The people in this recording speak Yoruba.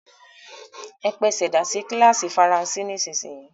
E pesèdà sí kílàsì faransé nísinyì!